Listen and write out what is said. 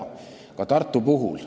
Seda ka Tartu puhul.